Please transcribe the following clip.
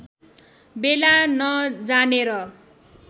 बेला न जानेर